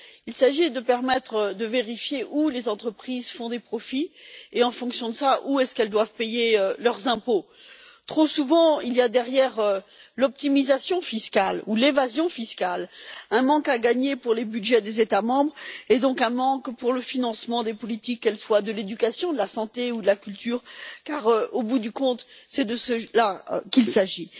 Il s'agit de permettre de vérifier où les entreprises font des profits et, en fonction de cela, où elles doivent payer leurs impôts. Trop souvent, il y a derrière l'optimisation fiscale ou l'évasion fiscale un manque à gagner pour les budgets des États membres et, donc, un manque de fonds pour le financement des politiques, que ce soit dans le domaine de l'éducation, de la santé ou de la culture, car, au bout du compte, c'est de cela dont il s'agit.